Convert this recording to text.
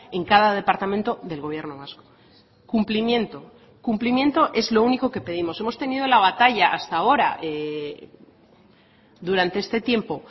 en cada departamento del gobierno vasco cumplimiento cumplimiento es lo único que pedimos hemos tenido la batalla hasta ahora durante este tiempo